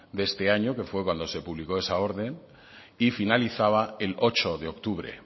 de este año que fue cuando se publicó esa orden y finalizaba el ocho de octubre